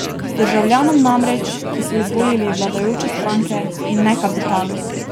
Državljanom namreč, ki so izvolili vladajoče stranke, in ne kapitalu!